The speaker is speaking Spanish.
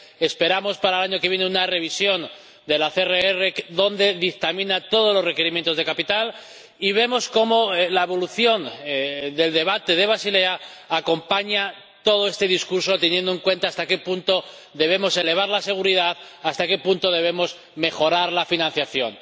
esperamos para el año que viene una revisión de la CRR, en la que se dictaminan todos los requerimientos de capital y vemos cómo la evolución del debate de Basilea acompaña todo este discurso, teniendo en cuenta hasta qué punto debemos elevar la seguridad, hasta qué punto debemos mejorar la financiación.